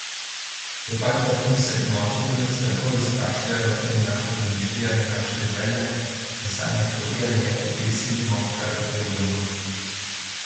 Je pač tako, da se ponoči poleg strahov izkašljajo naša domišljija in naše želje, v sanjah hote ali nehote izsilimo, kar potrebujemo.